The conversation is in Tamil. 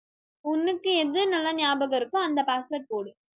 உங்களுக்கு எது நல்லா ஞாபகம் இருக்கோ அந்த password போடு